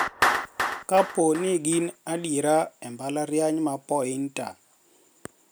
Kapo ni gin adiera e mbalariany ma Poynter.